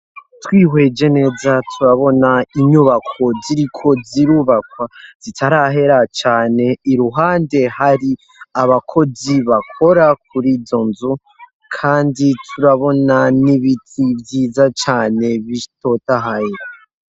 Twihweje neza turabona inyubako ziriko zirubakwa zitarahera cane iruhande hari abakozi bakora kuri izo nzu kandi turabona n'ibiti vyiza cane bitotahaye.